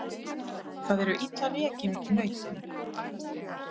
Það eru illa rekin nautin